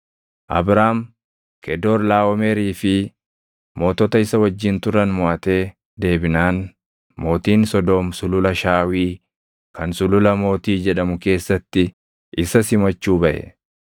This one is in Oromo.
Abraam Kedoorlaaʼomeri fi mootota isa wajjin turan moʼatee deebinaan mootiin Sodoom Sulula Shaawii kan Sulula Mootii jedhamu keessatti isa simachuu baʼe.